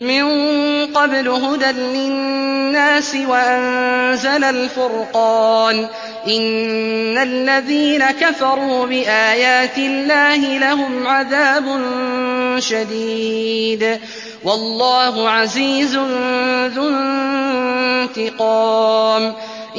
مِن قَبْلُ هُدًى لِّلنَّاسِ وَأَنزَلَ الْفُرْقَانَ ۗ إِنَّ الَّذِينَ كَفَرُوا بِآيَاتِ اللَّهِ لَهُمْ عَذَابٌ شَدِيدٌ ۗ وَاللَّهُ عَزِيزٌ ذُو انتِقَامٍ